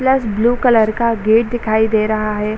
Pulse blue colour का gate दिखाई दे रहा है।